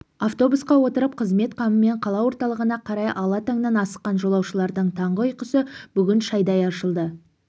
автобусқа отырып қызмет қамымен қала орталығына қарай ала таңнан асыққан жолаушылардың таңғы ұйқысы бүгін шайдай ашылды